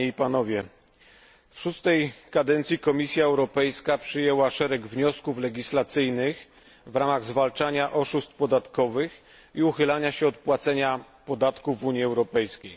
W szóstej kadencji Komisja Europejska przyjęła szereg wniosków legislacyjnych w ramach zwalczania oszustw podatkowych i uchylania się od płacenia podatków w Unii Europejskiej.